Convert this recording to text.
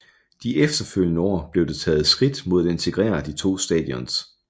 De efterfølgende år blev der taget skridt mod at integrere de to stations